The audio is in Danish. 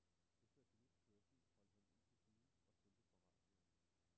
Efter et minuts kørsel holdt han ind til siden og tændte for radioen.